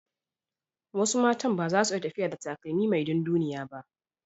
Wasu matan ba su iya tafiya da takalmi mai dunduniya ba.